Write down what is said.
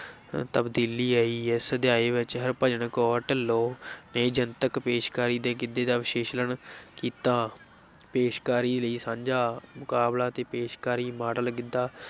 ਤਬਦੀਲੀ ਆਈ, ਇਸ ਅਧਿਆਇ ਵਿੱਚ ਹਰਭਜਨ ਕੌਰ ਢਿਲੋਂ ਨੇ ਜਨਤਕ ਪੇਸ਼ਕਾਰੀ ਦੇ ਗਿੱਧੇ ਦਾ ਵਿਸ਼ਲੇਸ਼ਣ ਕੀਤਾ, ਪੇਸ਼ਕਾਰੀ ਲਈ ਸਾਂਝਾ ਮੁਕਾਬਲਾ ਤੇ ਪੇਸ਼ਕਾਰੀ ਮਾਡਲ ਗਿੱਧਾ